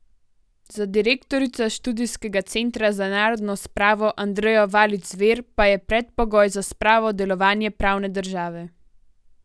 Za direktorico Študijskega centra za narodno spravo Andrejo Valič Zver pa je predpogoj za spravo delovanje pravne države.